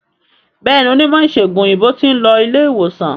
Béèni Onímò ìsègùn òyìnbó tin lo ilé ìwòsan